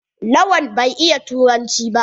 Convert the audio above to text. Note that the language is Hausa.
Lawan bai iya yarbanci ba.